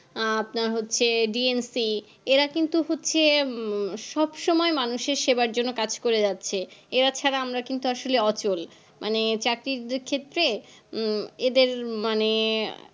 আপনার হচ্ছে D N C এরা কিন্তু হচ্ছে সবসময় মানুষের সেবার জন্য কাজ করে যাচ্ছে এরা ছাড়া আমরা কিন্তু আসলে অচল মানে চাকরীর ক্ষেত্রে এদরে মানে